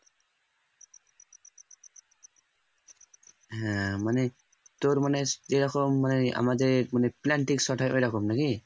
হ্যাঁ মানে তোর মানে এরকম মানে আমাদের মানে plantic shot এর ওইরকম নাকি